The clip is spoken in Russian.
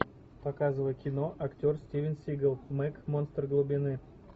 показывай кино актер стивен сигал мег монстр глубины